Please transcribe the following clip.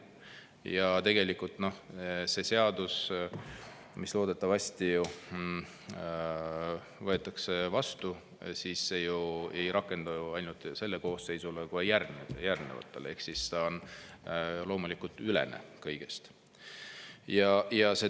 Ja tegelikult see seadus, mis loodetavasti võetakse vastu, ju ei rakendu ainult sellele koosseisule, vaid ka järgnevatele ehk ta on loomulikult kõigeülene.